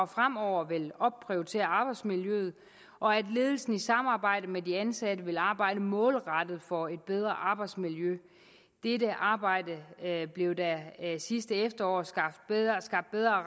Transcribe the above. fremover vil opprioritere arbejdsmiljøet og at ledelsen i samarbejde med de ansatte vil arbejde målrettet for et bedre arbejdsmiljø dette arbejde blev der sidste efterår skabt bedre